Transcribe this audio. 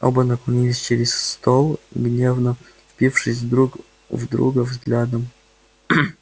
оба наклонились через стол гневно впившись друг в друга взглядом